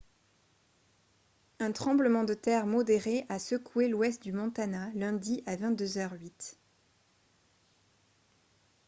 un tremblement de terre modéré a secoué l'ouest du montana lundi à 22 h 08